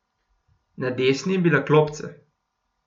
Na desni je bila klopca.